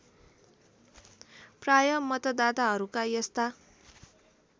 प्राय मतदाताहरूका यस्ता